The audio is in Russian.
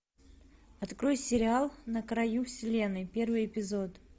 открой сериал на краю вселенной первый эпизод